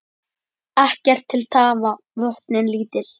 Ekkert til tafa, vötnin lítil.